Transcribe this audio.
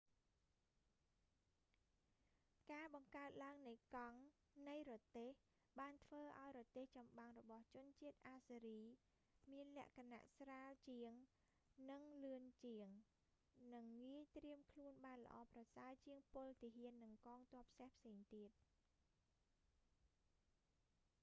ការបង្កើតឡើងនៃកង់នៃរទេះ បានធ្វើឲ្យរទេះចំបាំងរបស់ជនជាតិអាស៊ើរី assyrian មានលក្ខណៈស្រាលជាងនិងលឿនជាង និងងាយត្រៀមខ្លួនបានល្អប្រសើរជាងពលទាហាន និងកងទ័ពសេះផ្សេងទៀត។